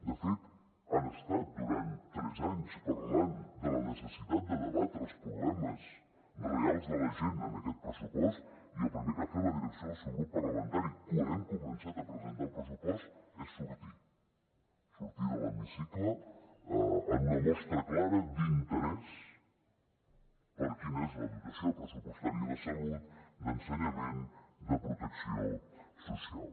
de fet han estat durant tres anys parlant de la necessitat de debatre els problemes reals de la gent en aquest pressupost i el primer que ha fet la direcció del seu grup parlamentari quan hem començat a presentar el pressupost és sortir sortir de l’hemicicle en una mostra clara d’interès per quina és la dotació pressupostària de salut d’ensenyament de protecció social